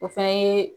O fɛnɛ ye